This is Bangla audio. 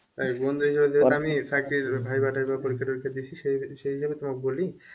চাকরি বাকরি viva টাইভা দিয়েছি সেই হিসাবে তোমাকে বলি,